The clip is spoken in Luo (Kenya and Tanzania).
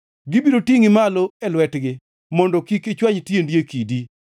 gibiro tingʼi malo e lwetgi, mondo kik ichwany tiendi e kidi.